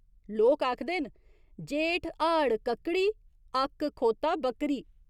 लोक आखदे न जेठ हाड़ कक्कड़ी, अक्क, खोता, बक्करी।